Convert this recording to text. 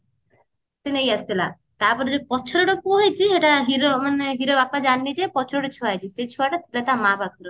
ସେ ନେଇ ଆସିଥିଲା ତା ପରେ ଯୋଉ ପଛରେ ଗୋଟେ ପୁଅ ହେଇଛି ହେଟା hero ମାନେ hero ବାପା ଜାଣିନି ଯେ ପଛରେ ଗୋଟେ ଛୁଆ ହେଇଛି ସେ ଛୁଆ ଟା ଥିଲା ତା ମାଆ ପାଖରେ